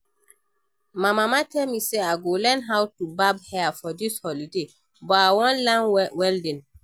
My mama tell me say I go learn how to barb hair for dis holiday but I wan learn welding